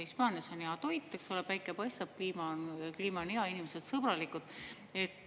Hispaanias on hea toit, eks ole, päike paistab, kliima on hea, inimesed sõbralikud.